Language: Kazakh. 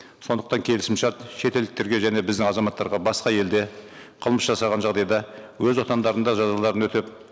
сондықтан келісімшарт шетелдіктерге және біздің азаматтарға басқа елде қылмыс жасаған жағдайда өз отандарында жазаларын өтеп